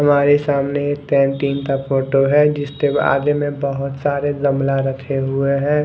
हमारे सामने एक कैंटीन का फोटो है जिसके आगे में बहोत सारा गमला रखे हुए है।